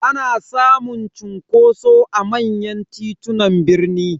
Ana samun cunkoso a manyan titunan birni.